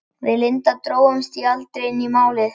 Við Linda drógumst því aldrei inn í Málið.